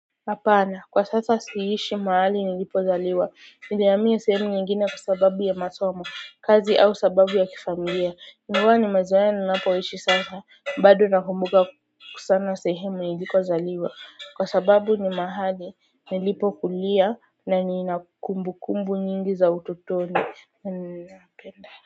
Hapana kwa sasa siishi mahali nilipozaliwa. Nilihamia sehemu nyingine kwa sababu ya masomo, kazi au sababu ya kifamilia. Ingawa nimezoea ninapoishi sasa bado nakumbuka kusana sehemu nilikozaliwa kwa sababu ni mahali nilipokulia na niina kumbukumbu nyingi za utotoni. Na ninapenda.